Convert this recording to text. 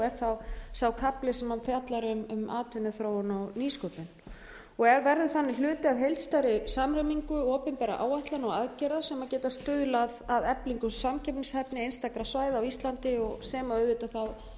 er þá sá kafli sem hún fjallar um atvinnuþróun og nýsköpun og verður þannig hluti af heildstæðri samræmingu opinberra áætlana og aðgerða sem geta stuðlað að eflingu samkeppnishæfni einstakra svæða á íslandi sem auðvitað